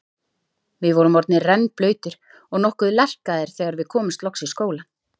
Við vorum orðnir rennblautir og nokkuð lerkaðir þegar við komumst loks í skólann.